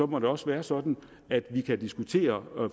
må det også være sådan at vi kan diskutere